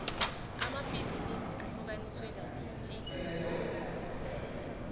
amabhizinisi ahlukaniswe kabili